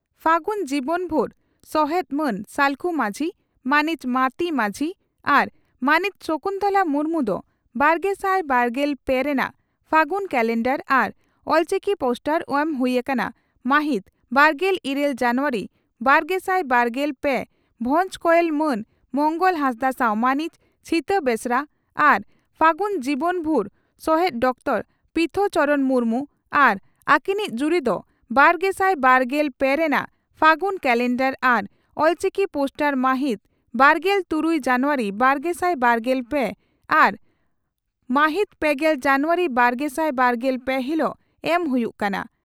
ᱯᱷᱟᱹᱜᱩᱱ ᱡᱤᱵᱚᱱ ᱵᱷᱩᱨ ᱥᱚᱦᱮᱛ ᱢᱟᱱ ᱥᱟᱞᱠᱷᱩ ᱢᱟᱹᱡᱷᱤ, ᱢᱟᱹᱱᱤᱡ ᱢᱟᱹᱛᱤ ᱢᱟᱹᱡᱷᱤ ᱟᱨ ᱢᱟᱹᱱᱤᱡ ᱥᱚᱠᱩᱱᱛᱚᱞᱟ ᱢᱩᱨᱢᱩ ᱫᱚ ᱵᱟᱨᱜᱮᱥᱟᱭ ᱵᱟᱨᱜᱮᱞ ᱯᱮ ᱨᱮᱱᱟᱜ ᱯᱷᱟᱹᱜᱩᱱ ᱠᱟᱞᱮᱱᱰᱟᱨ ᱟᱨ ᱚᱞᱪᱤᱠᱤ ᱯᱳᱥᱴᱟᱨ ᱮᱢ ᱦᱩᱭᱩᱜ ᱠᱟᱱᱟ ᱢᱟᱦᱤᱛ ᱵᱟᱨᱜᱮᱞ ᱤᱨᱟᱹᱞ ᱡᱟᱱᱩᱣᱟᱨᱤ ᱵᱟᱨᱜᱮᱥᱟᱭ ᱵᱟᱨᱜᱮᱞ ᱯᱮ ᱵᱷᱚᱸᱡᱽ ᱠᱚᱭᱮᱞ ᱢᱟᱱ ᱢᱚᱝᱜᱚᱞ ᱦᱟᱸᱥᱫᱟᱜ ᱥᱟᱣ ᱢᱟᱹᱱᱤᱡ ᱪᱷᱤᱛᱟ ᱵᱮᱥᱨᱟ ᱟᱨ ᱯᱷᱟᱹᱜᱩᱱ ᱡᱤᱵᱚᱱ ᱵᱷᱩᱨ ᱥᱚᱦᱮᱛ ᱰᱚᱠᱴᱚᱨ ᱯᱤᱛᱷᱚ ᱪᱚᱨᱚᱬ ᱢᱩᱨᱢᱩ ᱟᱨ ᱟᱹᱠᱤᱱᱤᱡ ᱡᱩᱨᱤ ᱫᱚ ᱵᱟᱨᱜᱮᱥᱟᱭ ᱵᱟᱨᱜᱮᱞ ᱯᱮ ᱨᱮᱱᱟᱜ ᱯᱷᱟᱹᱜᱩᱱ ᱠᱟᱞᱮᱱᱰᱟᱨ ᱟᱨ ᱚᱞᱪᱤᱠᱤ ᱯᱳᱥᱴᱟᱨ ᱢᱟᱦᱤᱛ ᱵᱟᱨᱜᱮᱞ ᱛᱩᱨᱩᱭ ᱡᱟᱱᱩᱣᱟᱨᱤ ᱵᱟᱨᱜᱮᱥᱟᱭ ᱵᱟᱨᱜᱮᱞ ᱯᱮ ᱟᱨ ᱢᱟᱦᱤᱛ ᱯᱮᱜᱮᱞ ᱡᱟᱱᱩᱣᱟᱨᱤ ᱵᱟᱨᱜᱮᱥᱟᱭ ᱵᱟᱨᱜᱮᱞ ᱯᱮ ᱦᱤᱞᱚᱜ ᱮᱢ ᱦᱩᱭᱩᱜ ᱠᱟᱱᱟ ᱾